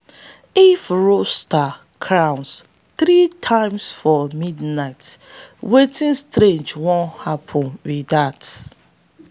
if rooster crows three times for midnight wetin strange wan happen be dat.